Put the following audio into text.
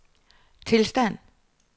tilstand